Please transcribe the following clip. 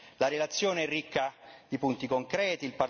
La relazione è ricca di punti concreti.